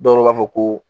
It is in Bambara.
Dɔw b'a fɔ ko